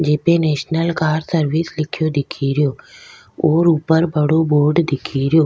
JP national car service लिखे दिखेरो और ऊपर बड़ो बोर्ड दिखेरो।